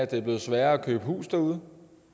det er blevet sværere at købe hus derude